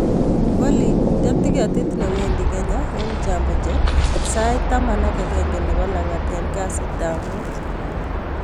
Olly inde tiketit newendi kenya en jambo jet sait taman ak akenge nebo langat en kasitab muut